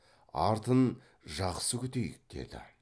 артын жақсы күтейік деді